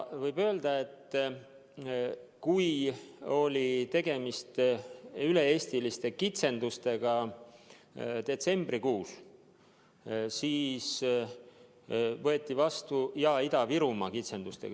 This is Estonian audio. Detsembrikuus oli tegemist üle-eestiliste kitsendustega ja Ida-Virumaa kitsendustega.